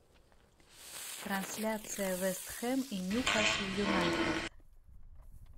трансляция вест хэм и ньюкасл юнайтед